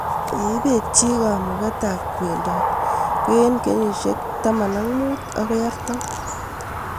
ye ipet chii kamuget ab kwendot ko eng kenyishek 15-40